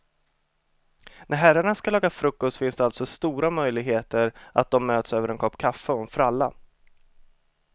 När herrarna ska laga frukost finns alltså det stora möjligheter att de möts över en kopp kaffe och en fralla.